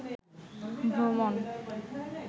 ভ্রমণ